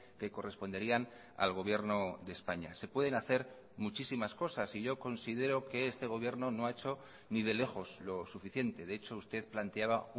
que corresponderían al gobierno de españa se pueden hacer muchísimas cosas y yo considero que este gobierno no ha hecho ni de lejos lo suficiente de hecho usted planteaba